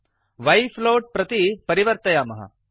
y Y float plot प्रति परिवर्तयामः